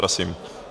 Prosím.